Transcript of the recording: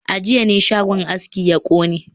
A jiya ne shagon aski ya kone